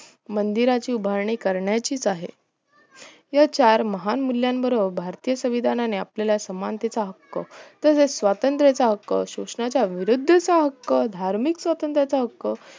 मंदिराची उभारणी कारण्याचीच आहे तेव्हा चार महान मुल्यांन बरोबर भारतीय संविधानाने आपल्याला समानतेचा हक्क स्वतंत्र याचा हक्क शोषणाच्या विरुद्धतेचा हक्क धार्मिक स्वत्रंतचा हक्क